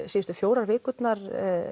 síðustu fjórar vikurnar